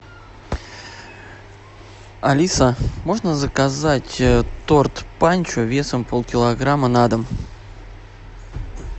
алиса можно заказать торт панчо весом полкилограмма на дом